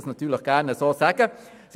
Ich sage das natürlich jetzt gerne so: